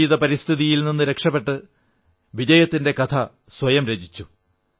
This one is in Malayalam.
വിപരീത പരിതസ്ഥിതികളിൽ നിന്ന് രക്ഷപ്പെട്ട് വിജയത്തിന്റെ കഥ സ്വയം രചിച്ചു